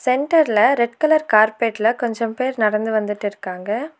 சென்டர்ல red colour கார்பெட்ல கொன்சம் பேர் நடந்து வந்துற்றுக்காங்க.